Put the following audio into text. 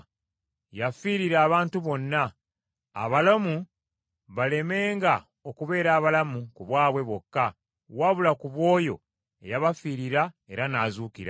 Yafiirira abantu bonna; abalamu balemenga okubeera abalamu ku bwabwe bokka, wabula ku bw’oyo eyabafiirira era n’azuukira,